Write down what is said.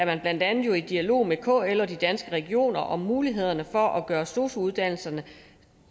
man blandt andet i dialog med kl og danske regioner om mulighederne for at gøre sosu uddannelserne